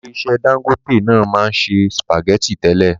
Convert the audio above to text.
Ilé iṣẹ́ Dangote náà maa n se spaghetti tẹ́lẹ̀.